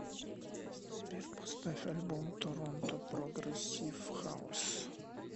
сбер поставь альбом торонто прогрессив хаус